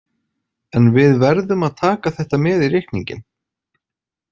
En við verðum að taka þetta með í reikninginn.